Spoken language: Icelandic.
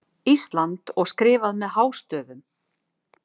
ÍSLAND og skrifað með hástöfum.